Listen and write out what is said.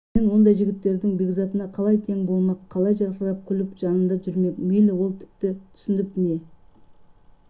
мына түрімен ондай жігіттің бекзатына қалай тең болмақ қалай жарқырап күліп жанында жүрмек мейлі ол тіпті түсініп не